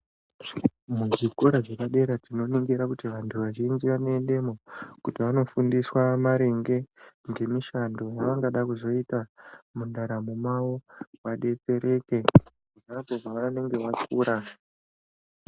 Muchikora chepadera tinoningira kuti vantu vazhinji vanoendemo kuti vanofundiswa maringe ngemishando yavangada kuzoita mundaramo mavo vadetsereke ponapo pavanenge vakura.